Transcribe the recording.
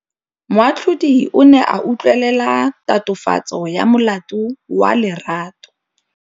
Moatlhodi o ne a utlwelela tatofatsô ya molato wa Lerato.